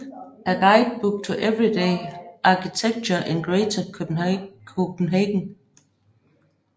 A Guidebook to Everyday Architecture in Greater Copenhagen